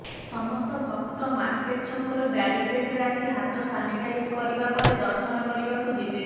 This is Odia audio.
ସମସ୍ତ ଭକ୍ତ ମାର୍କେଟ ଛକରୁ ବ୍ୟାରିକେଡ଼ରେ ଆସି ହାତ ସାନିଟାଇଜ କରିବା ପରେ ଦର୍ଶନ କରିବାକୁ ଯିବେ